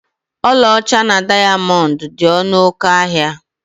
Ọlaọcha na dayamondu dị ọnụ oké ahịa